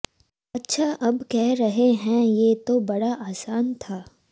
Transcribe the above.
अच्छा अब कह रहे हैं ये तो बड़ा आसान था